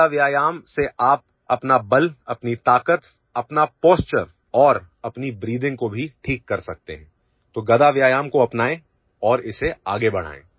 गदा व्यायाम से आप अपना बल अपनी ताकत अपना पोश्चर और अपनी ब्रीथिंग को भी ठीक कर सकते हैं तो गदा व्यायाम को अपनाए और इसे आगे बढ़ाएं